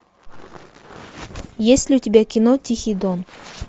есть ли у тебя кино тихий дон